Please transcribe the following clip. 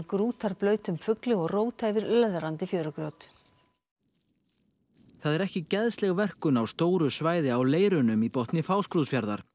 grútarblautum fugli og róta yfir löðrandi fjörugrjót það er ekki geðsleg verkun á stóru svæði á leirunum í botni Fáskrúðsfjarðar